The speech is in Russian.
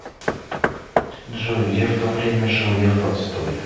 джой где в то время жил лев толстой